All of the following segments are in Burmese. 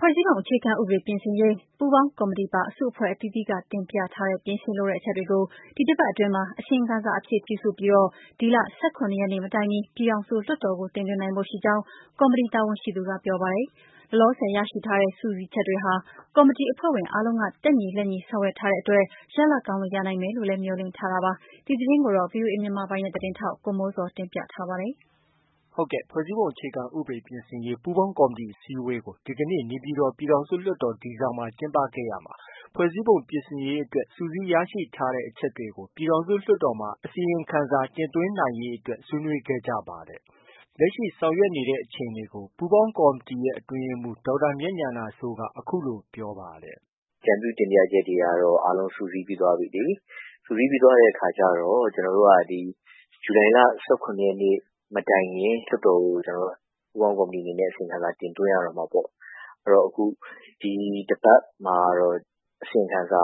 ွဲ့စည်းပုံအခြေခံဥပဒေ ပြင်ဆင်ရေး ပူးပေါင်းကော်မတီပါ အစုအဖွဲ့အသီးသီးက တင်ပြထားတဲ့ ပြင်ဆင်လိုတဲ့ အချက်တွေကို ဒီတစ်ပတ်အတွင်းမှာ အစီရင်ခံစာအဖြစ် ပြုစုပြီး ဒီလ ၁၇ ရက်နေ့ မတိုင်မီ ပြည်ထောင်စုလွှတ်တော်ကို တင်သွင်းနိုင်ဖို့ ရှိကြောင်း ကော်မတီက တာဝန်ရှိသူက ပြောပါတယ်။ လောလောဆယ် ရရှိထားတဲ့ စုစည်းချက်တွေဟာ ကော်မတီအဖွဲ့ဝင်တွေ အားလုံးက တက်ညီလက်ညီ ဆောင်ရွက်ထားတဲ့အတွက် ရလဒ်ကောင်းတွေ ရနိုင်မယ်လို့လည်း မျှော်လင့်ထားပါတယ်။ ဒီသတင်းကို ဗွီအိုအေမြန်မာပိုင်းရဲ့ သတင်းထောက် ကိုမိုးဇော်က တင်ပြထားပါတယ်။ ဖွဲ့စည်းပုံအခြေခံဥပဒေ ပြင်ဆင်ရေး ပူးပေါင်းကော်မတီ အစည်းအဝေးကို ဒီကနေ့ နေပြည်တော် ပြည်ထောင်စု လွှတ်တော် D ဆောင်မှာ ကျင်းပခဲ့ရာမှာ ဖွဲ့စည်းပုံ ပြင်ဆင်ရေးအတွက် စုစည်းရရှိထားတဲ့ အချက်တွေကို ပြည်ထောင်စု လွှတ်တော်မှာ အစီရင်ခံစာ တင်သွင်းနိုင်ရေးအတွက် ဆွေးနွေးခဲ့ကြပါတယ်။ လက်ရှိ ဆောင်ရွက်နေတဲ့အခြေအနေကို ပူးပေါင်းကော်မတီရဲ့ အတွင်းရေးမှူး ဒေါက်တာမြတ်ဉာဏစိုးက အခုလို ပြောပါတယ်။ “အကြံပြုတင်ပြချက်တွေကတော့ အားလုံး စုစည်းပြီးသွားပြီလေ။ စုစည်းပြီးသွားတဲ့ အခါကျတော့ ကျနော်တို့က ဇူလိုင်လ ၁၇ ရက်နေ့မတိုင်ခင် လွှတ်တော်ကို ပူးပေါင်းကော်မတီအနေနဲ့ အစီရင်ခံစာ တင်သွင်းရတော့မှာပေါ့။ အဲတော့ အခု ဒီတစ်ပတ်မှာကတော့ အစီရင်ခံစာ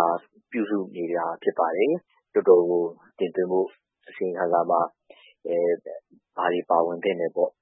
ပြုစုနေတာ ဖြစ်ပါတယ်။ လွှတ်တော်ကို တင်သွင်းဖို့ အစီရင်ခံစာမှာ ဘာတွေ ပါဝင်သင့်တယ်ပေါ့။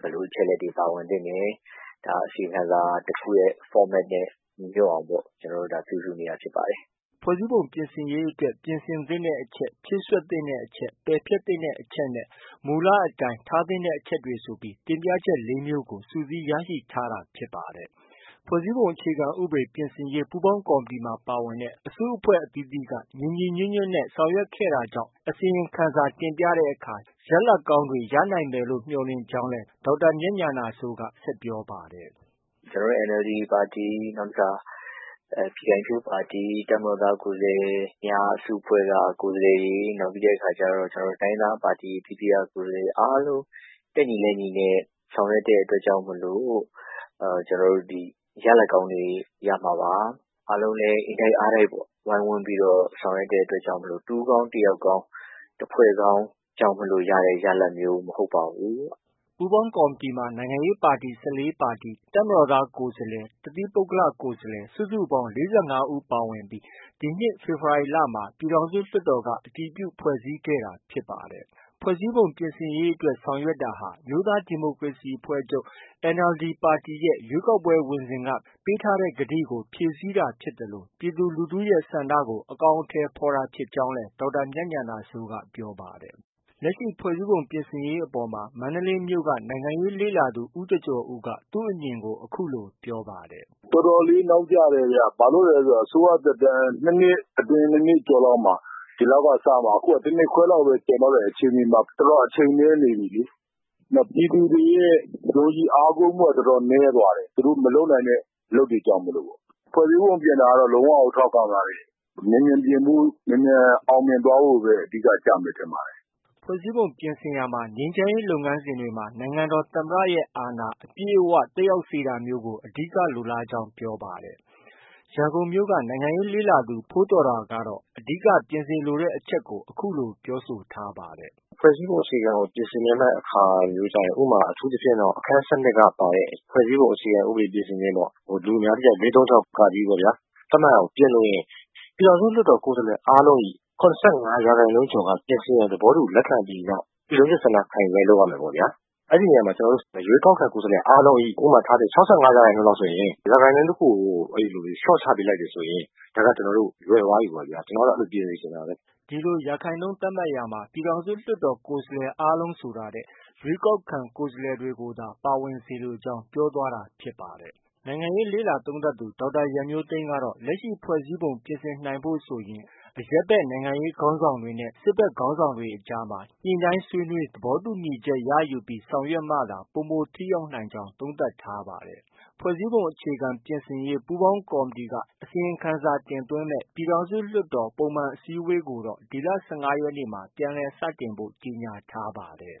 ဘယ်လို အချက်အလက်တွေ ပါဝင်သင့်တယ်။ အစီရင်ခံစာတစ်ခုရဲ့ format နဲ့ ညီညွှတ်အောင်ပေါ့။ ကျနော်တို့ ပြုစုနေတာ ဖြစ်ပါတယ်။ ” ဖွဲ့စည်းပုံ ပြင်ဆင်ရေးအတွက် ပြင်ဆင်သင့်တဲ့ အချက်၊ ဖြည့်စွက်သင့်တဲ့ အချက်၊ ပယ်ဖျက်သင့်တဲ့ အချက်နဲ့ မူလအတွင်း ထားသင့်တဲ့ အချက်တွေဆိုပြီး တင်ပြချက် လေး မျိုး စုစည်းရရှိထားတာ ဖြစ်ပါတယ်။ ဖွဲ့စည်းပုံအခြေခံဥပဒေ ပြင်ဆင်ရေး ပူးပေါင်းကော်မတီမှာ ပါဝင်တဲ့ အစုအဖွဲ့ အသီးသီးက ညီညီညွှတ်ညွှတ်နဲ့ ဆောင်ရွက်ခဲ့ကြတာကြောင့် အစီရင်ခံစာတင်ပြတဲ့အခါ ရလဒ်ကောင်းတွေ ရနိုင်မယ်လို့ မျှော်လင့်ထားကြောင်းလည်း ဒေါက်တာ မြတ်ဉာဏစိုးက ဆက်ပြောပါတယ်။ “ကျနော်တို့ NLD ပါတီ၊ နောက်တစ်ခါ ပြည်ခိုင်ဖြိုး ပါတီ၊ တပ်မတော်သား ကိုယ်စားလှယ်များအစု အဖွဲ့က ကိုယ်စားလှယ်တွေ၊ နောက်ပြီးတော့ တိုင်းရင်းသားပါတီ အသီးသီးက ကိုယ်စားလှယ်တွေ အားလုံး တက်ညီလက်ညီနဲ့ ဆောင်ရွက်တဲ့ အတွက်ကြောင့်မို့ ဒီ ရလဒ်ကောင်းတွေ ရမှာပါ။ အားလုံးလည်း အင်တိုက်အားတိုက်ပေါ့ ဝိုင်းဝန်းပြီး ဆောင်ရွက်တဲ့အတွက်ကြောင့် တဦးကောင်း၊ တယောက်ကောင်း၊ တဖွဲ့ကောင်းကြောင့် ရတဲ့ ရလဒ်မျိုး မဟုတ်ပါဘူး။ ” ပူးပေါင်းကော်မတီမှာ နိုင်ငံရေးပါတီ ၁၄ ပါတီ၊ တပ်မတော်သား ကိုယ်စားလှယ်အစု အဖွဲ့၊ တသီးပုဂ္ဂလ ကိုယ်စားလှယ် စုစုပေါင်း ၄၅ ဦး ပါဝင်ပြီး ဒီနှစ် ဖေဖော်ဝါရီလမှာ ပြည်ထောင်စုလွှတ်တော်က အတည်ပြုဖွဲ့စည်းခဲ့တာ ဖြစ်ပါတယ်။ ဖွဲ့စည်းပုံပြင်ဆင်ရေးအတွက် ဆောင်ရွက်တာဟာ အမျိုးသားဒီမိုကရေစီအဖွဲ့ချုပ် NLD ပါတီရဲ့ ရွေးကောက်ပွဲဝင်စဉ်က ပေးထားတဲ့ ကတိကို ဖြည့်ဆည်းတာ ဖြစ်သလို ပြည်သူလူထုတွေရဲ့ ဆန္ဒကို အကောင်အထည်ဖော်တာ ဖြစ်ကြောင်းလည်း ပြောပါတယ်။ လက်ရှိ ဖွဲ့စည်းပုံပြင်ဆင်ရေး ဆောင်ရွက်နေတဲ့အပေါ်မှာ မန္တလေးမြို့က နိုင်ငံရေးလေ့လာသူ ဦးကျော်ကျော်ဦးက သူ့အမြင်ကို အခုလို ပြောပါတယ်။ “တော်တော်လေး နောက်ကျတယ်ဗျ။ အစိုးရသက်တမ်း ၂ နှစ်အတွင်း၊ ၂ နှစ်ကျော်လောက်မှာ ဒီလောက်က စမှ။ အခုက တ နှစ်ခွဲလောက်ပဲ ကျန်တော့တဲ့အချိန်မှာ တော်တော် အချိန်နည်းနေပြီလေ။ နောက်ပြည်သူတွေရဲ့ ယုံကြည်အားကိုးမှုက တော်တော်နည်းသွားတယ်။ သူတို့ မလုပ်နိုင်တဲ့ အလုပ်တွေကြောင့် မို့ပေါ့။ ဖွဲ့စည်းပုံပြင်တာကတော့ လုံးဝကို ထောက်ခံပါတယ်။ မြန်မြန်ပြင်ဖို့ မြန်မြန်အောင်မြင်ဖို့ပဲ အဓိက ကျမယ် ထင်ပါတယ်။” ဖွဲ့စည်းပုံပြင်ဆင်ရာမှာ ငြိမ်းချမ်းရေး လုပ်ငန်းစဉ်တွေမှာ နိုင်ငံတော်သမ္မတရဲ့ အာဏာ အပြည့်အ၀ သက်ရောက်စေတာမျိုးကို အဓိက လိုလားကြောင်း ပြောပါတယ်။ ရန်ကုန်မြို့က နိုင်ငံရေးလေ့လာသူ ဖိုးသော်တာကတော့ အဓိက ပြင်စေလိုတဲ့ အချက်ကို အခုလို ပြောဆိုထားပါတယ်။ “ဖွဲ့စည်းပုံအခြေခံ ဥပဒေကို ပြင်ဆင်ချင်တဲ့အခါကျရင် ဥပမာ အခန်း ၁၂ က ပါတဲ့ ဖွဲ့စည်းပုံအခြေခံ ဥပဒေပြင်ဆင်ခြင်းပေါ့။ လူအများသိကြတဲ့ ၄၃၆ ပေါ့ဗျာ။ သတ်မှတ်ရာကို ပြင်လိုရင် ပြည်ထောင်စုလွှတ်တော် ကိုယ်စားလှယ်အားလုံး၏ ၇၅ ရာခိုင်နှုန်းကျော်က ပြင်ဆင်ရန် လက်ခံပြီးနောက် ပြည်လုံးကျွတ် ဆန္ဒခံယူပွဲ လုပ်ရမယ်ပေါ့ဗျာ။ အဲဒီနေရာမှာ ကျနော်တို့ ရွေးကောက်ခံ ကိုယ်စားလှယ်အားလုံး၏ ဥပမာ ၆၅ ရာခိုင်နှုန်းလောက်ဆိုရင်၊ ရာခိုင်နှုန်းတခုကို လျော့ချနိုင်တယ်ဆို ဒါက ကျနော်တို့ လွယ်သွားပြီပေါ့ဗျာ။ ကျနော်က အဲလို ပြင်စေချင်တာပဲ။” ဒီလို ရာခိုင်နှုန်းသတ်မှတ်ရာမှာ ပြည်ထောင်စုလွှတ်တော်ကိုယ်စားလှယ် အားလုံးဆိုတာထက် ရွေးကောက်ခံ ကိုယ်စားလှယ်တွေကိုသာ ပါဝင်စေလိုကြောင်း ပြောသွားတာဖြစ်ပါတယ်။ နိုင်ငံရေးလေ့လာသုံးသပ်သူ ဒေါက်တာရန်မျိုးသိန်းကတော့ လက်ရှိ ဖွဲ့စည်းပုံ ပြင်ဆင်နိုင်ဖို့ဆိုရင် အရပ်ဘက် နိုင်ငံရေးခေါင်းဆောင်တွေနဲ့ စစ်ဘက်ခေါင်းဆောင်တွေ အကြား ညှိနှိုင်းဆွေးနွေး သဘောတူညီချက်ရယူပြီး ဆောင်ရွက်မှသာ ပိုမို ထိရောက်နိုင်ကြောင်း သုံးသပ်ထားပါတယ်။ ဖွဲ့စည်းပုံ အခြေခံဥပဒေ ပြင်ဆင်ရေး ပူးပေါင်းကော်မတီက အစီရင်ခံစာ တင်သွင်းမယ့် ပြည်ထောင်စုလွှတ်တော်ပုံမှန် အစည်းအဝေးကိုတော့ ဒီလ ၁၅ ရက်နေ့မှာ ပြန်လည် စတင်ဖို့ ကြေညာထားပါတယ်။